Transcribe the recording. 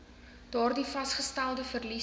daardie vasgestelde verliese